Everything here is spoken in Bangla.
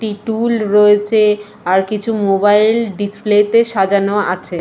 একটি টুল রয়েছে আর কিছু মোবাইল ডিসপ্লে -তে সাজানো আছে।